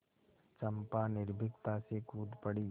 चंपा निर्भीकता से कूद पड़ी